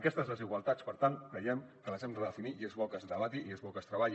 aquestes desigualtats per tant creiem que les hem de redefinir i és bo que es debati i és bo que es treballi